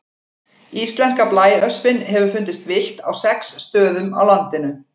Íslenska blæöspin hefur fundist villt á sex stöðum á landinu.